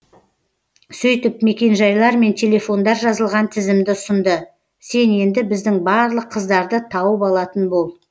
сөйтіп мекенжайлар мен телефондар жазылған тізімді ұсынды сен енді біздің барлық қыздарды тауып алатын бол